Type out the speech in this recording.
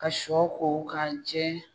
Ka shɔ ko k'a jɛ.